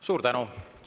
Suur tänu!